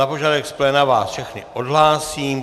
Na požadavek z pléna vás všechny odhlásím.